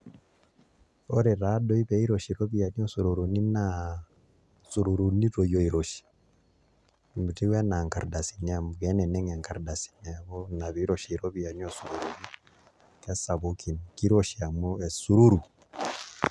Ore taa doi pee iroshi iropiyiani oo sururuni naa sururuni toi oiroshi metiu enaa nkardasini amu keneneng' enkardasi neeku ina pee iroshi iropiyiani oo sururuni kesapukin, kiroshi amu esururu.